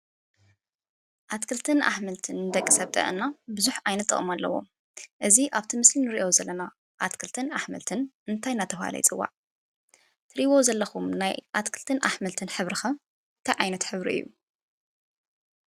ኣትክልትን ኣሕምልትን ንደቂ ሰብ ጥዕና ብዙሕ ዓይነት ጥቅሚ ኣለዎ ።እዚ ኣብቲ ምስሊ እንሪኦ ዘለና ኣትክትን ኣሕምልትን እንታይ እንዳተባሃለ ይፅዋዕ? ትሪእይዎ ዘለኩም ናይ ኣትክልትን ኣሕምልትን ሕብሪ ከ እንታይ ዓይነት ሕብሪ እዩ?